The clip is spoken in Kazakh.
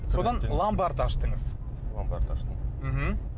содан ломбард аштыңыз ломбард аштым мхм